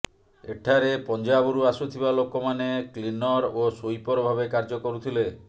ଏଠାରେ ପଞ୍ଜାବରୁ ଆସୁଥିବା ଲୋକମାନେ କ୍ଲିନର ଓ ସୁଇପର ଭାବେ କାର୍ଯ୍ୟ କରୁଥିଲେ